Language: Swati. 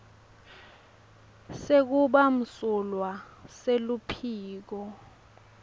sekuba msulwa seluphiko